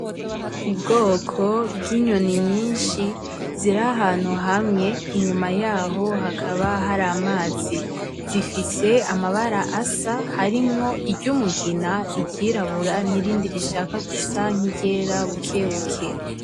Ubwoko bw'inyoni nyinshi ziri ahantu hamwe, inyuma yaho hakaba hari amazi, zifise amabara asa harimwo iry'umugina, iryirabura nirindi rishika gusa nki ryera buke buke.